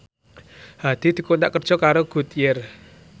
Hadi dikontrak kerja karo Goodyear